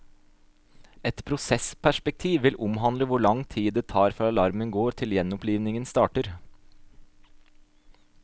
Et prosessperspektiv vil omhandle hvor lang tid det tar fra alarmen går til gjenopplivingen starter.